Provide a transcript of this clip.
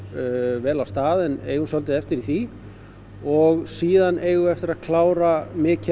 vel af stað en eigum svolítið eftir í því og síðan eigum við eftir að klára mikið af